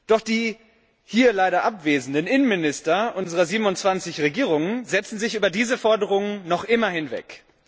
Doch die hier leider abwesenden Innenminister unserer 27 Regierungen setzen sich über diese Forderungen noch immer hinweg.